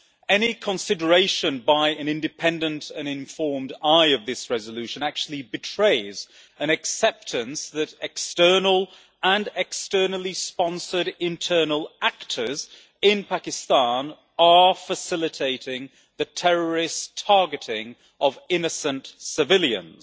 Any consideration by an independent and informed eye of this resolution actually betrays an acceptance that external and externally sponsored internal actors in Pakistan are facilitating the terrorist targeting of innocent civilians.